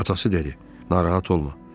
Atası dedi: narahat olma.